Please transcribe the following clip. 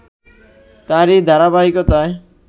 তারই ধারাবাহিকতায়